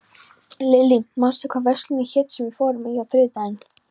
Lillý, manstu hvað verslunin hét sem við fórum í á þriðjudaginn?